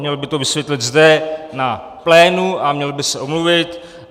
Měl by to vysvětlit zde na plénu a měl by se omluvit.